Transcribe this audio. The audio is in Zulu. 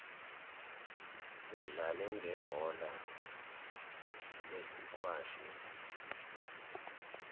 udlale ngebhola lesikwashi